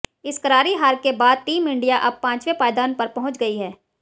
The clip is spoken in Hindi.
इस करारी हार के बाद टीम इंडिया अब पांचवें पायदान पर पहुंच गई है